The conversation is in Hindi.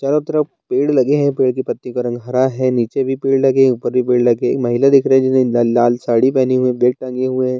चारो तरफ़ पेड़ लगें हैं पेड़ की पत्ती का रंग हरा है नीचे भी पेड़ लगे हैं ऊपर भी पेड़ लगे हैं महिला दिख रही है जिसने लाल साड़ी पहनी हुई है बैग टांगी हुई है।